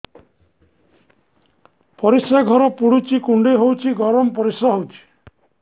ପରିସ୍ରା ଘର ପୁଡୁଚି କୁଣ୍ଡେଇ ହଉଚି ଗରମ ପରିସ୍ରା ହଉଚି